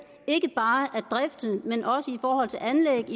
ikke bare af driften men også i forhold til anlæg